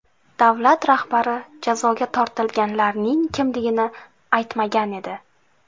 Davlat rahbari jazoga tortilganlarning kimligini aytmagan edi.